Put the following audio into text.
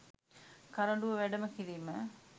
කරඬුව වැඩම කිරීම